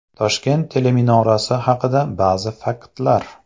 Toshkent teleminorasi haqida ba’zi faktlar.